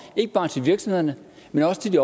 ikke bare til virksomhederne men også til de